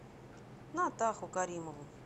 натаху каримову